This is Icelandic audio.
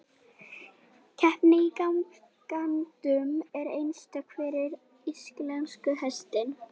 Keppni í gangtegundum er einstök fyrir íslenska hestinn.